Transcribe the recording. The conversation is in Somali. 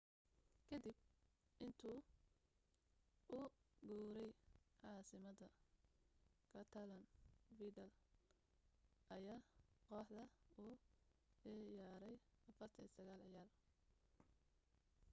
ka dib intuu u guuray caasimadda catalan vidal ayaa kooxda u ciyaaray 49 ciyaar